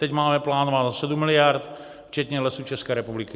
Teď máme plánováno 7 miliard včetně Lesů České republiky.